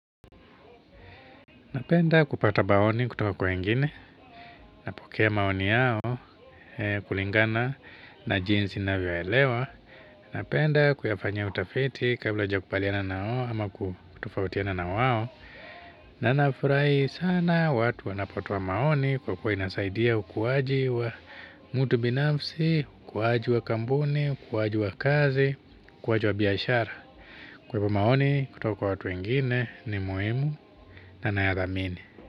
Napenda kupata maoni kutoka kwa wengine, napokea maoni yao, kulingana na jinsi na vyoelewa. Napenda kuyafanya utafiti kabla kuja kubaliana nawao, ama kutofautiana na wao. Na nafurahi sana watu wanapotoa maoni kwa kuwa inasaidia ukuwaji wa mutu binafsi, ukuwaji wa kampuni, ukuwaji wa kazi, ukuwaji wa biashara. Kwa hivyo maoni kutoka kwa watu wengine ni muhimu na nayadhamini.